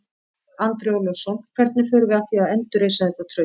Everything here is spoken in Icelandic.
Andri Ólafsson: Hvernig förum við að því að endurreisa þetta traust?